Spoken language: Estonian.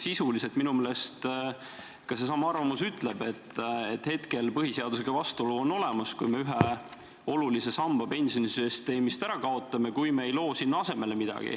Ehk minu meelest viitab ka seesama arvamus sisuliselt sellele, et põhiseadusega vastuolu on olemas, kui me ühe olulise samba pensionisüsteemist ära kaotame ja midagi asemele ei loo.